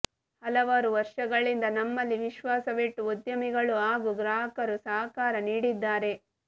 ಹಲವಾರು ವರ್ಷಗಳಿಂದ ನಮ್ಮಲ್ಲಿ ವಿಶ್ವಾಸವಿಟ್ಟು ಉದ್ಯಮಿಗಳು ಹಾಗೂ ಗ್ರಾಹಕರು ಸಹಕಾರ ನೀಡಿದ್ದಾರೆ